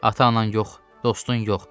Ata-anan yox, dostun yox.